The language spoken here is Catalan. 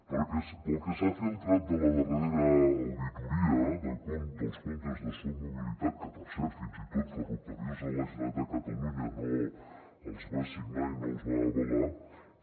perquè pel que s’ha filtrat de la darrera auditoria dels comptes de soc mobilitat que per cert fins i tot ferrocarrils de la generalitat de catalunya no els va signar i no els va avalar